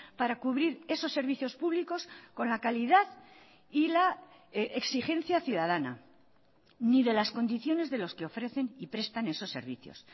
para cubrir esos servicios públicos con la calidad y la exigencia ciudadana ni de las condiciones de los que ofrecen y prestan esos servicios